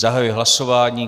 Zahajuji hlasování.